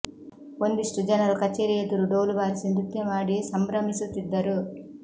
ಒಂದಿಷ್ಟು ಜನರು ಕಚೇರಿ ಎದುರು ಡೋಲು ಬಾರಿಸಿ ನೃತ್ಯ ಮಾಡಿ ಸಂಭ್ರಮಿಸುತ್ತಿದ್ದರು